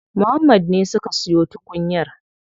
Muhammad ne suka siyo tukunyar.